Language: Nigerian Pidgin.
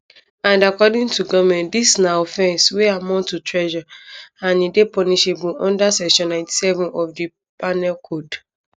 and according to goment dis na offence wey amount to treason and e dey punishable unda section 97 of di penal code